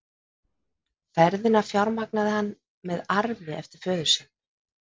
Ferðirnar fjármagnaði hann með arfi eftir föður sinn.